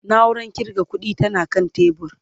nauran ƙirga ƙuɗi tana kan tebur